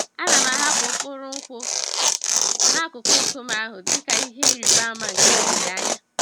Ana m ahapụ mkpụrụ nkwụ n'akụkụ nkume ahụ dị ka ihe ịrịba ama nke olileanya.